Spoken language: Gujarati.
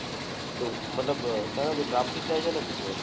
તો મતલબ ત્રણ અને ચાર થી જ જાય છે